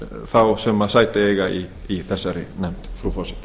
þá sem sæti eiga í þessari nefnd frú forseti